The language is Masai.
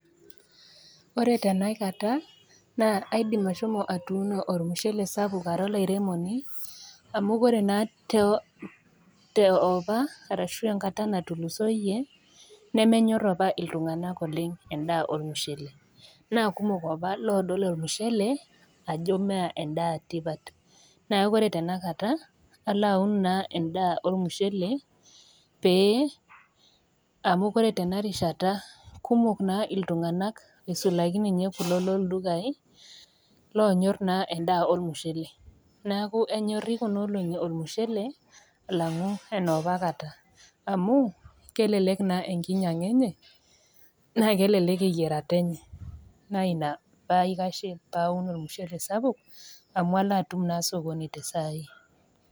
Ore tena kata naa aidim ashomo atuuno olmushele sapuk ara olairemoni, amu kore naa te opa ashu enkata natulusoyie nemenyor opa iltung'ana oleng endaa olmushele. Naa kumok opa lodol olmushele ajo mee endaa etipat. Neaku ore tenakata, alo naa aun endaa olmushele pee, amu ore tena rishata kumok naa iltung'ana aisulaki ninye kulo loldukai lonyor naa endaa olmushele, neaku enyori kuna olong'i olmushele alang'u enopa kata, amu kelelek naa enkinyang'a enye naa kelelek eyierata enye neaku ina paikashie paun olmushele sapuk amu alo naa atum sokoni tesai.